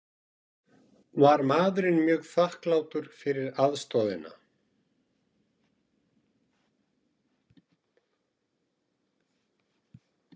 Var maðurinn mjög þakklátur fyrir aðstoðina